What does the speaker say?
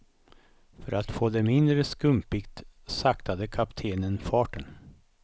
För att få det mindre skumpigt saktade kaptenen farten.